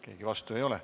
Keegi vastu ei ole.